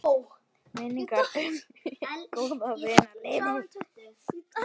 Minning um góðan vin lifir.